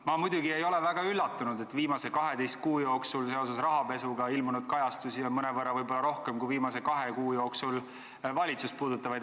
Ma muidugi ei ole väga üllatunud, et viimase 12 kuu jooksul on rahapesu kajastusi ilmunud mõnevõrra rohkem kui viimase kahe kuu jooksul valitsust puudutavaid.